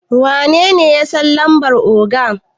wanene ya San lambar oga?